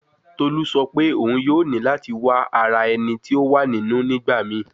Tolu sọ pe oun yoo ni lati wa ara ẹni ti o wa ninu nigbamii